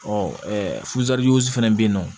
fɛnɛ bɛ ye nɔ